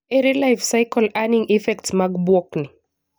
Ere life-cycle earning effects mag bwok ni?